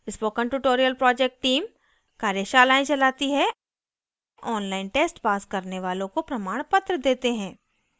spoken tutorial project teamकार्यशालाएं चलाती है online tests पास करने वालों को प्रमाणपत्र देते हैं